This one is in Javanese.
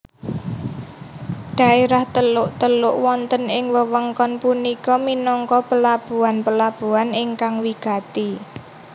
Daerah teluk teluk wonten ing wewengkon punika minangka pelabuhan pelabuhan ingkang wigati